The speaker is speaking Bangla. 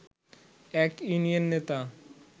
এক ইউনিয়ন নেতা